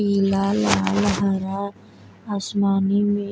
पीला लाल हरा आसमानी में --